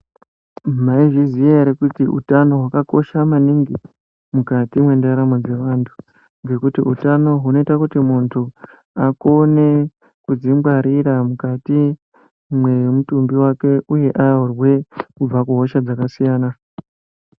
Mayizviziva here kuti utano hwakakosha maningi mukati mendaramo dzevantu, ngekuti utano hunoyita kuti muntu akone kudzingwarira, mukati mwemutumbi wake, uye arurwe kubva kuhosha dzakasiyana.